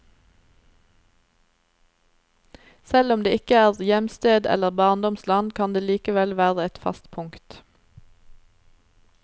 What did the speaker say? Selv om det ikke er hjemsted eller barndomsland, kan det likevel være et fast punkt.